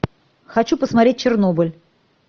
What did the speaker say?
хочу посмотреть чернобыль